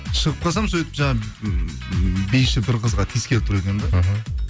шығып қалсам сөйтіп жаңа ммм биші бір қызға тиескелі тұр екен де іхі